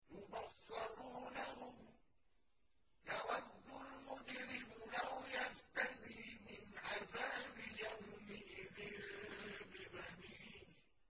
يُبَصَّرُونَهُمْ ۚ يَوَدُّ الْمُجْرِمُ لَوْ يَفْتَدِي مِنْ عَذَابِ يَوْمِئِذٍ بِبَنِيهِ